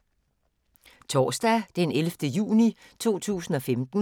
Torsdag d. 11. juni 2015